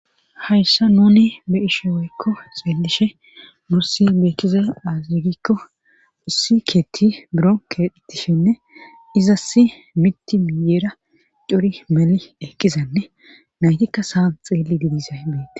Hayssa nuni be'ashe woykko xeelishe nursi beekkize azigikko usikeetti buro ketishenne izasi mitiiyeera curi meli eqqizanne naytikka saa xeelli didisay betes